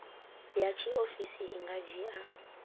ya tshiofisi i nga dzhia